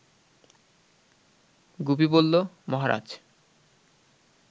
গুপি বলল, মহারাজ